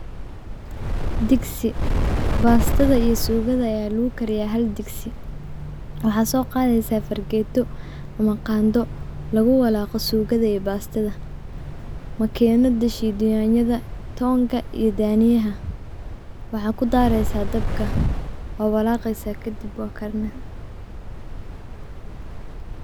Digsi baastada iyo suugada aya lagukariya hal digsi. Waxaa so qadeysa fargeeto ama qado laguwalaqa sugada iyo baastada makinada shida yanyada toonka iyo daniyaha. Waxaa kudaareysa dabka waa walaqeysa kadib waa karine.